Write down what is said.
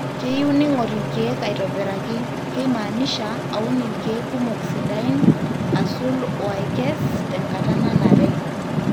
keyieu ningor ilkiek aitobiraki-keimaanisha aun ilkiek kumok sidain, asul oo aikes tenkata nanare